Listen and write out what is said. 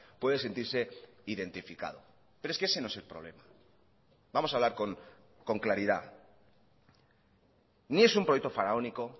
puede sentirse identificado pero es que ese no es el problema vamos a hablar con claridad ni es un proyecto faraónico